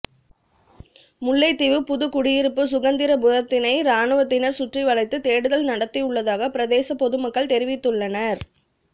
முல்லைத்தீவு புதுக்குடியிருப்பு சுகந்திரபுரத்தினை இராணுவத்தினர் சுற்றிவளைத்து தேடுதல் நடத்தியுள்ளதாக பிரதேச பொதுமக்கள் தெரிவித்துள்ளனர்